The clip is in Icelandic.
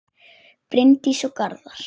Bryndís og Garðar.